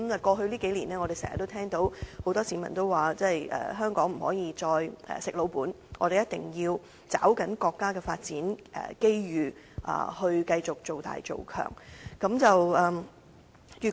過去數年，我們經常聽到很多市民說，香港不可以再"食老本"，我們一定要抓緊國家的發展機遇，繼續造大造強。